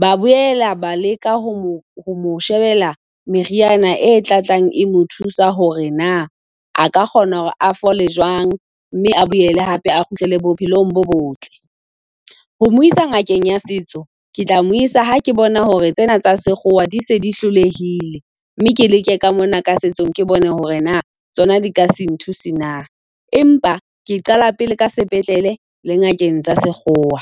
Ba boela ba leka ho mo , ho mo shebela meriana e batlang e mo thusa hore na a ka kgona hore a fole jwang, mme a boele hape a kgutlele bophelong bo botle. Ho mo isa ngakeng ya setso ke tla mo isa ha ke bona hore tsena tsa sekgowa di se di hlolehile. Mme ke leke ka mona ka setsong ke bone hore na tsona di ka se nthuse na. Empa ke qala pele ka sepetlele le ngakeng tsa sekgowa.